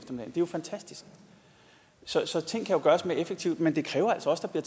jo fantastisk så så ting kan jo gøres mere effektivt men det kræver altså også at